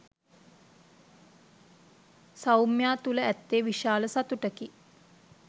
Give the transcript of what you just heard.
සෞම්‍යා තුළ ඇත්තේ විශාල සතුටකි.